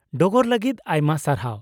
-ᱰᱚᱜᱚᱨ ᱞᱟᱜᱤᱫ ᱟᱭᱢᱟ ᱥᱟᱨᱦᱟᱣ ᱾